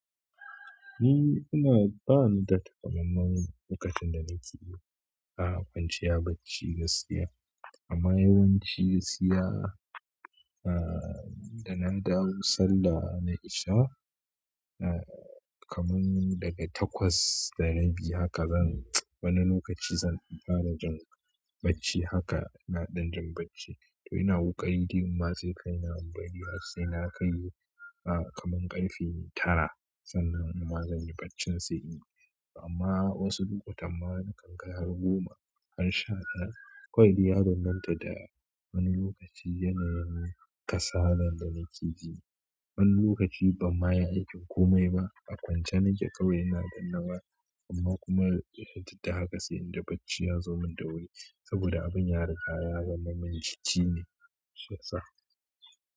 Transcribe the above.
Ni ina bani da takamamman lokacin da nake yi, a kwanciya bacci gaskiya. Amma yawanci siya ahh da na dawo sallah na isha, ahh kaman daga takwas da rabi haka zan wani lokaci zan fara jin bacci haka na ɗan jin bacci. To ina ƙoƙari gin ma sai kai na bari har sai na kai ah kaman ƙarfe tara sannan inma zan yi baccin sai inyi. Amma wasu lokutan ma na kan kai har goma har sha ɗaya kawai dai ya banbanta da. Wani lokaci yanayin kasalan da nake ji. Wani lokaci bam ma yi aikin komai ba a kwance nake kawai ina danna waya. Amma kuma ya duk da haka sai inda bacci ya zo min da wuri saboda abin ya riga ya zama mun cici ne shiyasa.